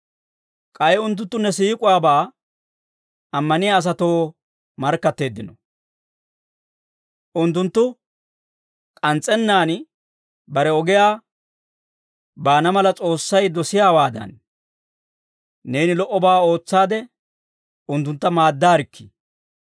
K'ay unttunttu ne siik'uwaabaa ammaniyaa asatoo markkatteeddino; unttunttu k'ans's'ennaan bare ogiyaa baana mala S'oossay dosiyaawaadan, neeni lo"obaa ootsaade unttuntta maaddaarikkii.